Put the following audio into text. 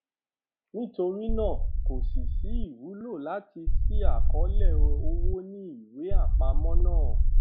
nítorí náà kò sí sí ìwúlò láti ṣí àkọọlẹ owó ní ìwé àpamọ náà